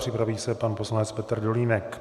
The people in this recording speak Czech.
Připraví se pan poslanec Petr Dolínek.